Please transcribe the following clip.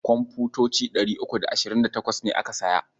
Komfutoci ɗari uku da ashirin da tawas ne aka saya.